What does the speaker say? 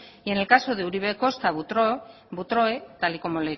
y en el caso de uribe kosta butroe tal y como